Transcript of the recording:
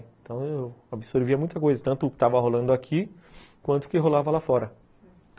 Então eu absorvia muita coisa, tanto o que estava rolando aqui quanto o que rolava lá fora.